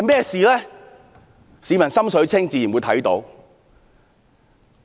市民"心水清"，自會看得出事實。